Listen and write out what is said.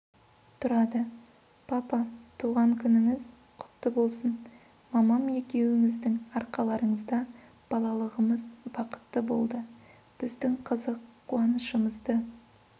тұрады папа туған күніңіз құтты болсын мамам екеуіңіздің арқаларыңызда балалығымыз бақытты болды біздің қызық қуанышымызды